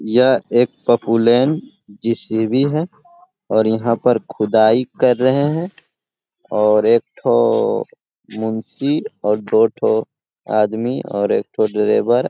यह एक popular JCB है और यहाँ पर खुदाई कर रहे हे और एक ठो मुंसी और दो ठो आदमी और एक ठो लेबर --